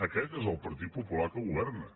aquest és el partit popular que governa